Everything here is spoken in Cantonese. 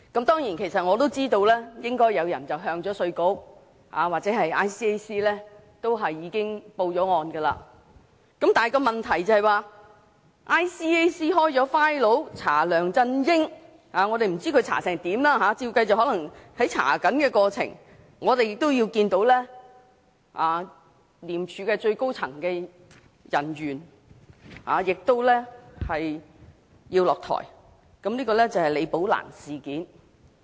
當然，我也知道應已有人向稅務局和廉署舉報，但問題是廉署開立檔案調查梁振英，我不知道調查進度如何，大概是正進行調查，其間我們已看到廉署最高層人員下台，這就是李寶蘭事件。